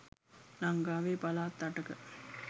ලංකාවේ පළාත් අටක